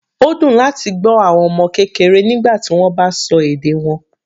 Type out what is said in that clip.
Ó dùn láti gbọ́ àwọn ọmọ kékeré nígbà tí wọ́n bá sọ èdè wọn.